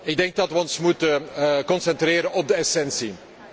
Ik denk dat wij ons moeten concentreren op de essentie.